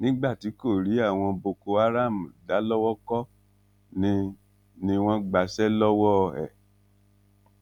nígbà tí kò rí àwọn boko haram dá lowó kọ ni ni wọn gbàṣẹ lọwọ ẹ